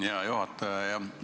Hea juhataja!